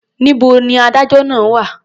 Níbo ni adájọ́ náà wà?